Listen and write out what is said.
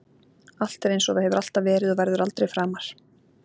Allt er einsog það hefur alltaf verið og verður aldrei framar.